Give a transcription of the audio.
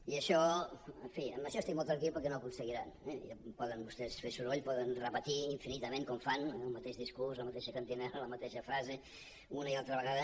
i en això estic molt tranquil perquè no ho aconseguiran eh i ja poden vostès fer soroll poden repetir infinitament com fan el mateix discurs la mateixa cantarella la mateixa frase una i altra vegada